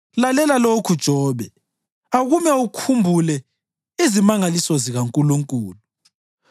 Lalela lokhu, Jobe; akume ukhumbule izimangaliso zikaNkulunkulu.